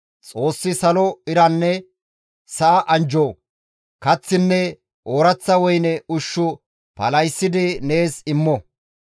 Xoossi salo iranne sa7a anjjo, kaththinne ooraththa woyne ushshu palahissidi nees immo.